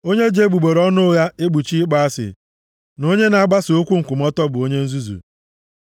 Onye ji egbugbere ọnụ ụgha ekpuchi ịkpọ asị na onye na-agbasa okwu nkwutọ bụ onye nzuzu.